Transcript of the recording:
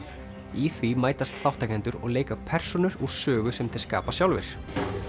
í því mætast þátttakendur og leika persónur úr sögu sem þeir skapa sjálfir